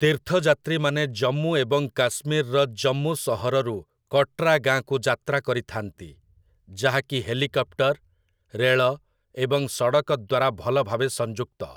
ତୀର୍ଥଯାତ୍ରୀମାନେ ଜମ୍ମୁ ଏବଂ କାଶ୍ମୀରର ଜମ୍ମୁ ସହରରୁ କଟ୍ରା ଗାଆଁକୁ ଯାତ୍ରା କରିଥାନ୍ତି, ଯାହାକି ହେଲିକପ୍ଟର୍, ରେଳ ଏବଂ ସଡ଼କ ଦ୍ୱାରା ଭଲ ଭାବେ ସଂଯୁକ୍ତ ।